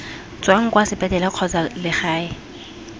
tswang kwa sepetlele kgotsa legae